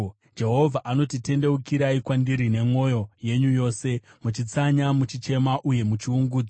Jehovha anoti, “Kunyange zvino, tendeukirai kwandiri nemwoyo yenyu yose muchitsanya, muchichema uye muchiungudza.”